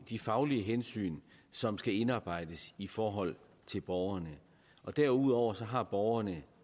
de faglige hensyn som skal indarbejdes i forhold til borgerne derudover har borgerne